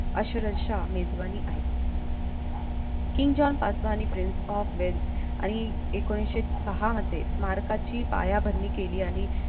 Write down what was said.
अक्षरशः मेजवानी आहे king जॉन पाचवा आणि prince of wales आणि एकोणीशे सहा मध्ये स्मारकाची पायाभरणी केली आणि